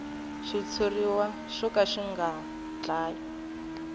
xitshuriwa xo ka xi nga